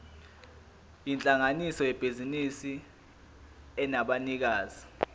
yinhlangano yebhizinisi enabanikazi